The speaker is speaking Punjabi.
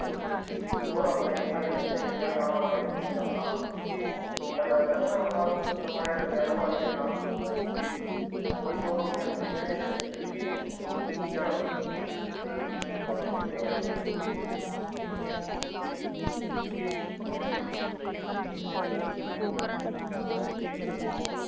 ਜੋ ਰੱਬ ਨੇ ਲਿਖਿਆ, ਜਿੱਥੇ ਲਿਖਿਆ ਦਾਣਾ ਪਾਣੀ, ਉੱਥੇ ਹੀ ਚੱਲਣਾ। ਆਪਾ ਕਹਿ ਦੇਗੂ ਨਾ ਸੁਪਨਿਆ ਦਾ ਮਹਿਲ ਪਾ ਦੇਈਏ ਨਾ। ਉਹੀ ਦੋ ਰੋਟੀਆਂ ਮਿਲੂਗੀਆਂ, ਜਿਹੜੀਆਂ ਕਿਸਮਤ ਚ ਲਿਖੀਆਂ। ਸਿਰਫ਼ ਹੋਰ ਥੋਨੂੰ ਕੁਛ ਨੀ ਮਿਲਣਾ।